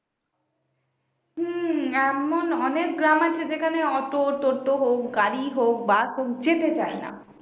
হম এমন অনেক গ্রাম আছে যেখানে auto toto হোক গাড়ি হোক bus হোক যেতে চায়না